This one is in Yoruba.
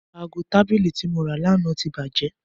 Aago tabili ti mo ra lana ti baje